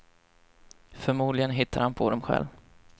Förmodligen hittar han på dem själv.